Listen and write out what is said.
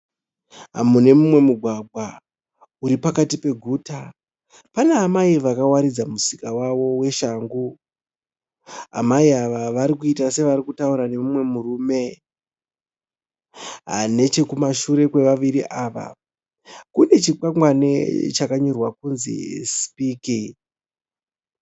Mune mumwe mugwagwa, uripakati paguta. Pana amai vakawaridza musika wavo weshangu. Amai ava vari kuita sevarikutaura nemumwe murume. Nechekumashure kwevaviri ava, kune chikwangwane chakanyorwa kunzi sipiki.